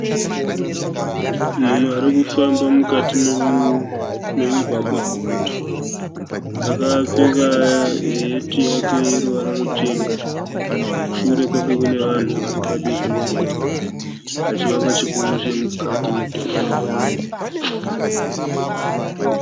Munhu ari kufamba mukati memugwagwa muguta. Akapfeka heti yake yeruvara ruchena. Shure kwake kune vanhu vari padivi pemugwagwa, pachivakwa chikuru chemukati medhorobha.